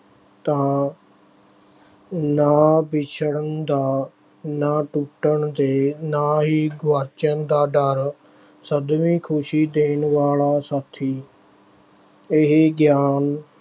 ਤਾਂ ਨਾ ਵਿਛੜਨ ਦਾ, ਨਾ ਟੁੱਟਣ ਦੇ, ਨਾ ਹੀ ਗੁਆਚਣ ਦਾ ਡਰ ਸਦੀਵੀਂ ਖੁਸ਼ੀ ਦੇਣ ਵਾਲਾ ਸਾਥੀ ਇਹ ਗਿਆਨ